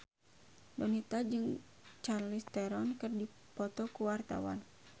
Donita jeung Charlize Theron keur dipoto ku wartawan